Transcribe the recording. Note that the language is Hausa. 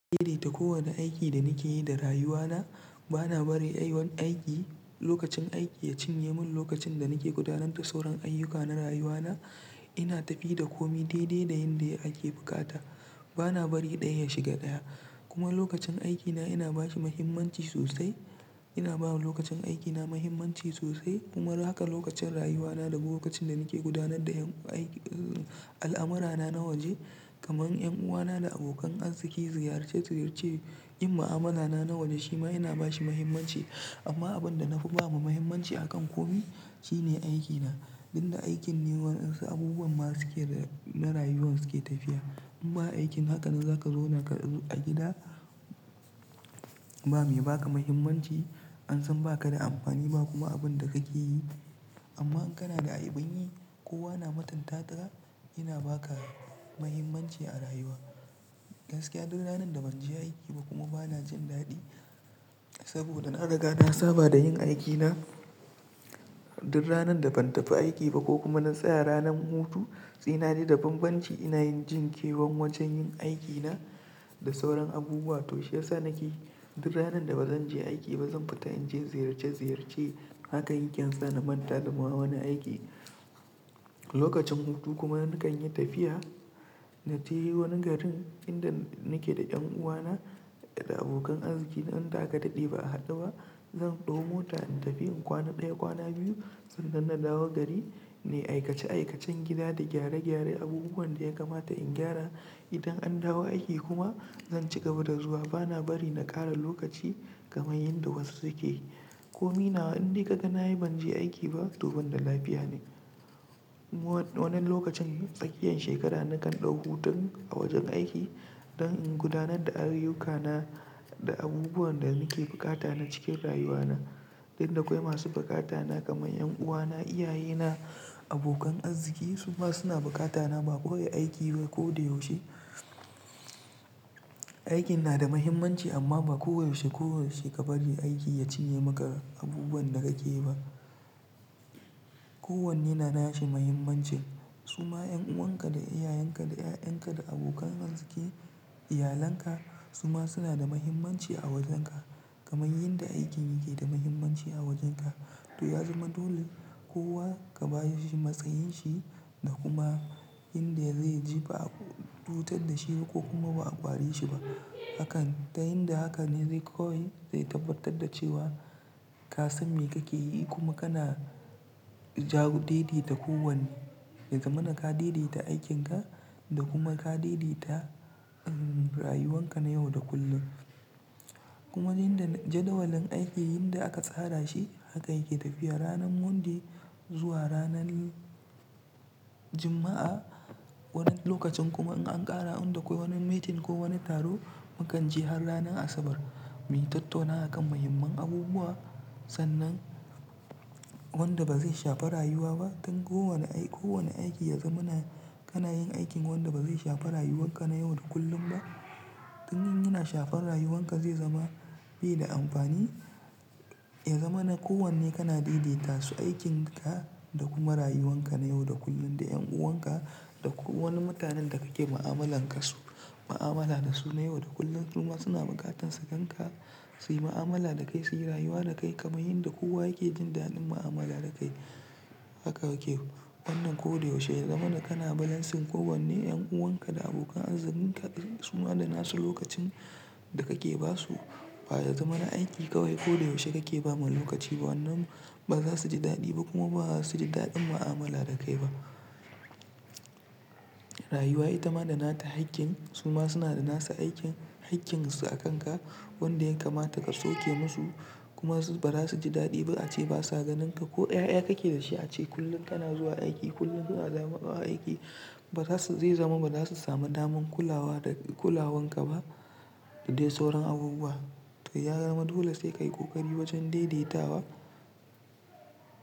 Daidaita kowane aiki da nake yi da rayuwa na. Bana bari wani aiki, lokacin aiki ya cinye mun lokacin da nake gudanar da sauran ayyuka na rayuwa na. Ina tafiya da komi daidai da yadda ake buƙata. Bana bari ɗaya ya shiga ɗaya. Kuma lokacin aikina ina bashi mahimmanci sosai. Ina bawa lokacin aikina mahimmanci sosai. Kuma haka lokacin rayuwa na da lokacin da nake gudanar da al'amurana na waje kamar 'yan uwana da abokan arziki, ziyarce ziyarce. Iyin ma'amala na nawe shima ina bashi mahimmanci amma abin da na fi bawa mahimmanci akan komai shine aikina. Inda aikin ne waɗansu abubuwan masu ke da na rayuwan suke tafiya. In ba aikin haka nan zaka zauna ka a gida ba mai ba ka mahimmanci. An san ba ka da amfani ba kuma abin da kake yi. Amma in kana da abun yi, kowa na mutunta ta ka. Ina ba ka mahimmanci a rayuwa. Gaskiya, duk ranan da ban je aiki ba kuma bana jin daɗi saboda na riga na saba da yin aikina. Duk ranan da ban tafi aiki ba ko kuma na tsaya ranan hutu, sena naji da banbanci ina jin kewan wajen yin aiki na da sauran abubuwa. To shi ya sa nake duk ranan da bazan je aiki ba zan fita in je ziyarce ziyarce. Haka inke insa na manta dama wani aiki. Lokacin hutu kuma nakan yi tafiya na taje wani garin inda nake da 'yan uwana da abokan arziki. Dan da aka daɗe ba a haɗuba. Zan ɗau mota in tafi in kwana ɗaya kwana biyu. Tun da ina dawo gari na yi aikace aikacen gida da gyare gyaren abubuwan da ya kamata in gyara. Idan an dawo aiki kuma zan cigaba da zuwa. Bana bari na ƙara lokaci kamar yanda wasu suke. Komai na inda kaga na yi ban je aiki ba, to ban da lafiya ne. Wani lokacin tsakiyan shekara nakan ɗauki hutu a wajen aiki don in gudanar da ayyukana da abubuwan da muke bukata na cikin rayuwa na. Inda akwai masu bukata na kamar 'yan uwana, iyaye na, abokan azziki. Su ma suna bukata na ba kawai aiki ba ko da yaushe. Aikin na da mahimmanci amma ba koyaushe koyaushe ka bari aiki ya cinye maka abubuwan da kake yi ba. Ko wanne na nashi mahimmanci. Su ma 'yan'uwanka da iyayenka da 'ya'yanka da abokan arzikin iyalanka su ma suna da mahimmanci a wajenka kamar yadda aikin yake da mahimmanci a wajenka. To ya zama dole kowa ka ba shi matsayin shi da kuma inda zai ji ba a cutur da shiba ko kuma ba a ƙware shi ba. Hakan, ta yinda haka ne zai kawai zai tabbatad da cewa ka san me kake yi kuma kana daideta ko wanne. Ya zama na ka daidaita aikin ka da kuma ka daidaita rayuwan ka na yau da kullum. Kuma inda jadawalin aiki inda aka tsara shi haka yake tafiya ranan Monday zuwa ranan Juma'a. Wani lokacin kuma in an ƙara inda akwai wani meeting ko wani taro makanje har ranan Asabar. Mu yi tattaunawa a kan muhimman abubuwa sannan wanda ba zai shafi rayuwa ba. Dulan kowane aiki, kowane aiki ya zama na kana yin aikin wanda ba zai shafi rayuwan ka na yau da kullum ba. Don in yana shafar rayuwan ka zai zama bai da amfani. Ya zama na kowane kana daidaita su aikin ka da kuma rayuwan ka na yau da kullun da 'yan'uwan ka da kowani mutanen da kake ma'amala dasu. Ma'amala da su na yau da kullun. Su ma suna buƙatan su gan ka, su yi ma'amala da kai, su yi rayuwa da kai kamar yadda kowa yake jin daɗin ma'amala da kai. Haka yake wannan ko da yaushe. Ya zama na kana balancing ko wanne 'yan'uwan ka da abokan arzikin ka suma da nasu lokacin da kake ba su. Ba ya zama na aiki kawai ko da yaushe kake ba ma lokaci ba wannan ba za su ji daɗi ba kuma ba za su ji daɗin ma'amala da kai ba. Rayuwa ita ma da nata haƙƙin. Su ma suna da nasu aikin hakkin su a kan ka wanda ya kamata ka sauke musu. Kuma su ba za su ji daɗi ba ace basa ganin ka ko 'ya'ya kake da shi. Ace kullum kana zuwa aiki kullum kana zamawa aiki. Ba za su zai zama ba za su sami damar kulawa da kulawan ka ba da dai sauran abubuwa. To ya zama dole sai ka yi ƙoƙari wajen daidaitawa.